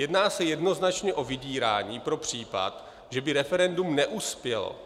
Jedná se jednoznačně o vydírání pro případ, že by referendum neuspělo.